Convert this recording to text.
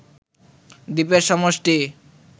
দ্বীপের সমষ্টি